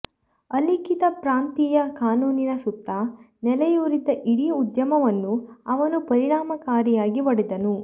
ಅಲಿಖಿತ ಪ್ರಾಂತೀಯ ಕಾನೂನಿನ ಸುತ್ತ ನೆಲೆಯೂರಿದ್ದ ಇಡೀ ಉದ್ಯಮವನ್ನು ಅವನು ಪರಿಣಾಮಕಾರಿಯಾಗಿ ಒಡೆದನು